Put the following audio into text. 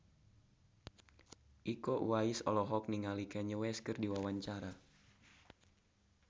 Iko Uwais olohok ningali Kanye West keur diwawancara